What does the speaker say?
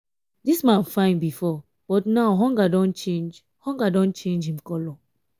dis man fine before but now hunger don change hunger don change him colour.